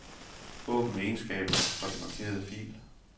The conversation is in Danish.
Åbn egenskaber for den markerede fil.